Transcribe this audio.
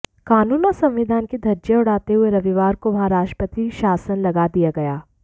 कानून और संविधान की धज्जियां उड़ाते हुए रविवार को वहां राष्ट्रप्रति शासन लगा दिया गया